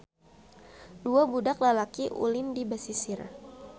Dua budak lalaki ulin di basisir.